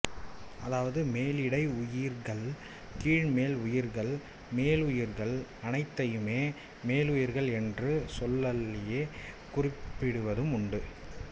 அதாவது மேலிடை உயிர்கள் கீழ்மேல் உயிர்கள் மேலுயிர்கள் அனைத்தையுமே மேலுயிர்கள் என்ற சொல்லாலேயே குறிப்பிடுவதும் உண்டு